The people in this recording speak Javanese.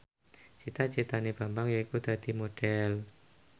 cita citane Bambang yaiku dadi Modhel